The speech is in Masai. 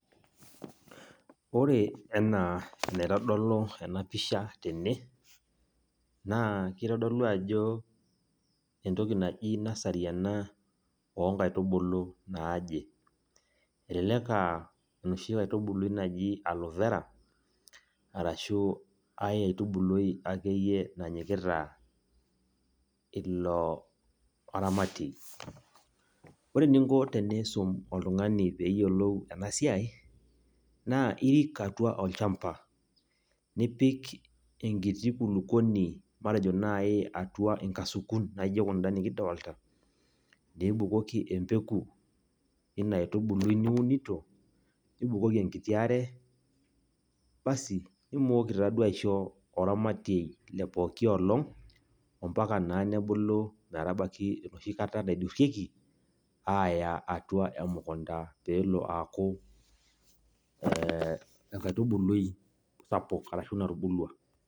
Ore enaa enaitodolu enapisha tene, naa kitodolu ajo entoki naji nursery ena onkaitubulu naaje. Elelek aa enoshi aitubului naji Aloe Vera, arashu ai aitubului akeyei nanyikita ilo aramatiei. Ore eninko teniisum oltung'ani peyiolou enasiai, naa irik atua olchamba, nipik enkiti kulukuoni matejo nai atua inkasukun naijo kunda nikidolta, nibukoki empeku ina aitubului niunito, nibukoki enkiti are, basi nimooki taduo aisho oramatiei le pooki olong', ompaka naa nebulu metabaiki enoshi kata naidurrieki, aaya atua emukunda peelo aaku enkaitubului sapuk, arashu natubulua.